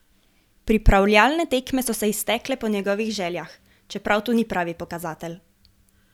Pripravljalne tekme so se iztekle po njegovih željah, čeprav to ni pravi pokazatelj.